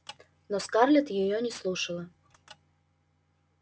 но скарлетт её не слушала